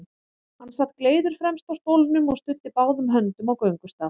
Hann sat gleiður fremst á stólnum og studdi báðum höndum á göngustaf.